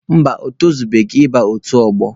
Mba, o torubeghị ịba otu ọgbọ.